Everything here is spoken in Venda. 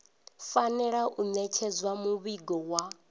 fanela u ṋetshedza muvhigo wa